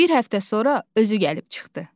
Bir həftə sonra özü gəlib çıxdı.